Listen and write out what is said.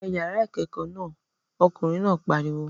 Wọ yàrá ìkẹ́kọ̀ọ́ náà! Ọkùnrin náà pariwo!